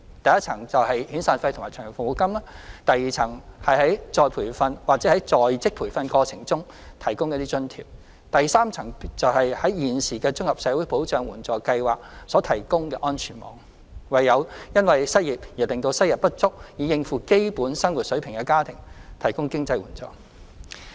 第一層是遣散費/長期服務金，第二層是於再培訓或在職培訓過程中提供津貼，第三層便是現時綜合社會保障援助計劃所提供的安全網，為因失業而令收入不足以應付基本生活水平的家庭提供經濟援助。